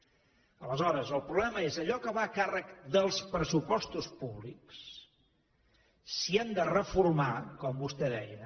aleshores el problema és allò que va a càrrec dels pressupostos públics si hem de reformar com vostè deia